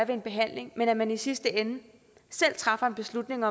en behandling men at man i sidste ende selv træffer en beslutning